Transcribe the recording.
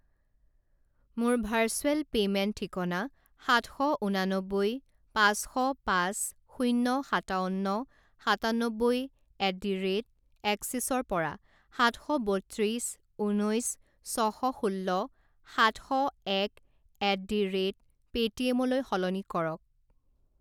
মোৰ virtual payment ঠিকনা সাতশ উনানবৈ পাঁচশ পাঁচ শূণ্য সাতাৱন্ন সাতান্নব্বৈ এট ডি ৰে'ট এক্সিসৰ পৰা সাত শ বত্ৰিছ ঊনৈছ ছশ ষোল্ল সাত শ এক এট ডি ৰে'ট পে'টিএমলৈ সলনি কৰক।